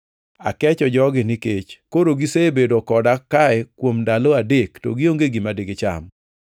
“Akecho jogi nikech koro gisebedo koda kae kuom ndalo adek to gionge gima digicham.